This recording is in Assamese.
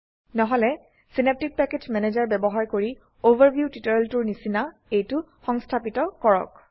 নহলে সিন্যাপটিক প্যাকেজ ম্যানেজাৰ ব্যবহাৰ কৰি অভাৰভিউ টিউটৰিয়েলটোৰ নিচিনা এইটো সংস্থাপিত কৰক